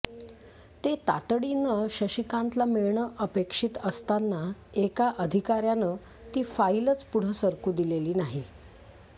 ते तातडीनं शशिकांतला मिळणं अपेक्षित असताना एका अधिकार्यानं ती फाईलच पुढं सरकू दिलेली नाही